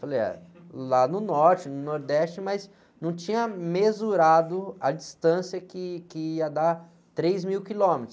Falei, ah, lá no norte, no nordeste, mas não tinha mesurado a distância que, que ia dar três mil quilômetros.